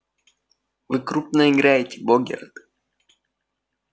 вы крупно играете богерт